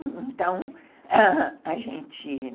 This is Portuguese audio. Então, a gente